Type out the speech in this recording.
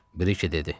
Brike dedi.